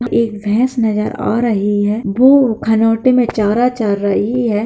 एक भैंस नजर आ रही है वो खरोटे में चारा चर रही है।